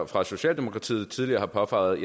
for socialdemokratiet tidligere har påpeget